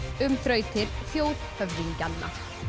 um þrautir þjóðhöfðingjanna